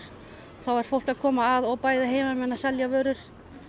þá er fólk að koma að og heimamenn að selja vörur